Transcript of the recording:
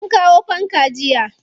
An kawo fanka jiya.